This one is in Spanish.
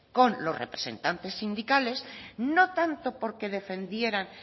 con los representantes sindicales no tanto porque defendieran